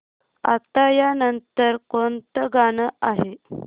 आता या नंतर कोणतं गाणं आहे